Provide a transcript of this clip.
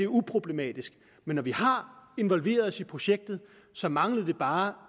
uproblematisk men når vi har involveret os i projektet så mangler det bare